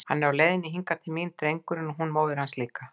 Hann er á leiðinni hingað til mín, drengurinn, og hún móðir hans líka!